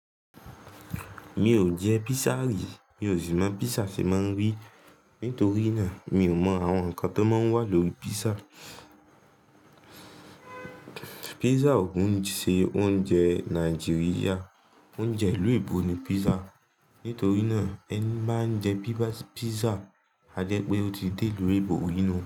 Mi ò jẹ pizza rí, mi ò sì mọ pizza ṣe máa ń rí. Nítorí náà mi ò mọ àwọn nǹkan tó máa ń wà lórí pizza. Pizza ò kí n ṣe oúnjẹ Nàìjíríà, oúnjẹ ìlú oyibò ni pizza. Nítorí náà ẹni bá ń jẹ pizza, a jẹ́ pé ó ti dé ìlú oyinbò ri nú un.